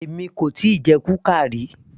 Èmi kò tíì jẹ kuka ríi